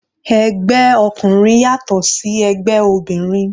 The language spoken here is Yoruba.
Ẹgbẹ́ ọkùnrin yàtọ̀ sí ẹgbẹ́ obìnrin.